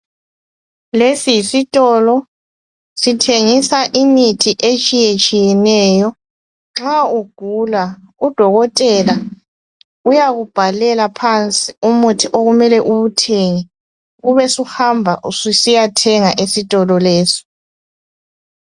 Lesi yisitolo. Sithengisa imithi etshiyetshiyeneyo. Nxa ugula, udokotela, uyakubhalela phansi, umuithi okumele uwuthenge. Ubusuhamba usiyathenga esitolo lesi.